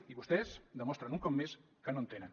i vostès demostren un cop més que no en tenen